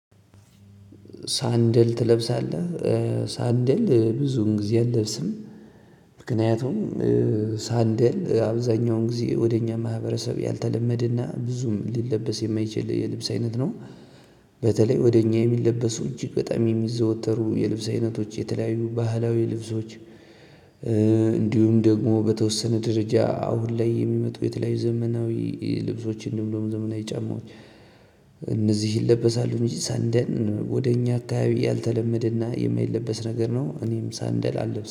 ሳንደል ትለብሳለህ? ሳንደል ብዙም ጊዜ አለብስም። ምክንያቱም ሳንደል አብዛኛውን ጊዜ ወደኛ ማህበረሰብ ያልተለመደ ና ብዙም ሊለበስ የማይችል የልብስ አይነት ነው። በተለይ ወደ እኛ የሚለበሱ እጅግ በጣም የሚዘወተሩ የልብስ አይነቶች የተለያዩ ባህላዊ ልብሶች እንዲሁም ደግሞ በተወሰነ ደረጃ አሁን ላይ የሚመጡ የተለያዩ ዘመናዊ ልብሶች እንዲሁም ደሞ ዘመናዊ ጫማዎች- እነዚህ ይለበሳሉ እንጂ ሳንደል ወደ እኛ አካባቢ ያልተለመደና የማይለበስ ነገር ነው። እኔም ሳንደል አለብስም።